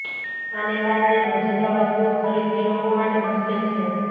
આને કારણે રોજિંદા વસ્તુઓ ખરીદવી લોકો માટે મુશ્કેલ છે